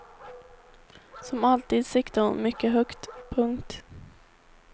Som alltid siktade hon mycket högt. punkt